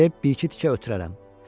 Təmizləyib bir-iki tikə ötürərəm.